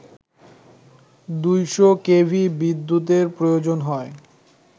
২শ KV বিদ্যুতের প্রয়োজন হয়